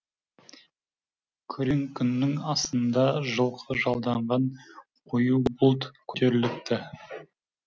күрең күннің астында жылқы жалданған қою бұлт көтеріліпті